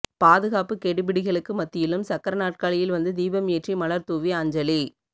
பாதுகாப்புக் கெடிபிடிகளுக்கு மத்தியிலும் சக்கர நற்காலியில் வந்து தீபம் ஏற்றி மலர் தூவி அஞ்சலி